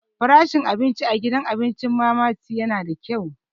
Farashin abinci a gidan abincin Mama Tee yana da kyau.